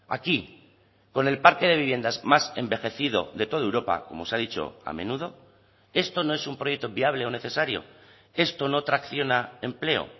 aquí con el parque de viviendas más envejecido de toda europa como se ha dicho a menudo esto no es un proyecto viable o necesario esto no tracciona empleo